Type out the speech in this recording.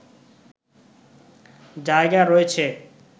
জায়গা রয়েছে